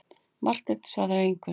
Marteinn svaraði engu.